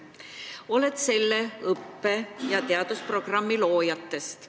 Sa oled üks selle õppe- ja teadusprogrammi loojatest.